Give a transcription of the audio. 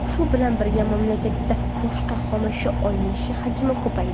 Shu bilan birga, mamlakatda boshqa xomashyo olinishi hajmi ko‘paydi.